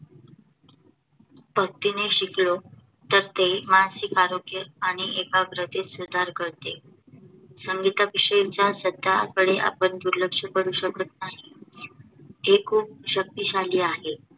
भक्तीने शिकलो तर ते मानसिक आरोग्य आणि एकाग्रतेत सुधार करते. संगीता विषयीच्या श्रद्धा कडे आपण दुर्लक्ष करू शकत नाही. ते खूप शक्तिशाली आहे